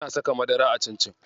Wasu na saka madara a cincin.